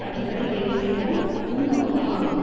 அடிப்படை வேலைத்திட்டமும் முன்னோக்கும் ஆகும்